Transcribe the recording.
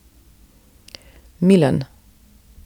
Milan.